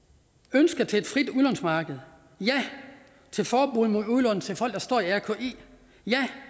ønsker til et frit udlånsmarked ja til forbud mod udlån til folk der står i rki ja